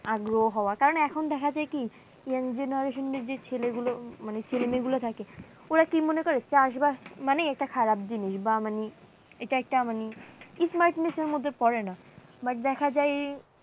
আগ্রহ হওয়া কেননা এখন দেখা যায় কি young generation এর যে ছেলেগুলো মানে ছেলেমেয়ে গুলা থাকে, ওরা কি মনে করে চাষবাস মানে এটা খারাপ জিনিস বা মানে এটা একটা মানে smartness এর মধ্যে পরে না but দেখা যায়